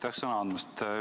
Aitäh sõna andmast!